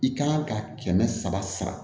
I kan ka kɛmɛ saba sara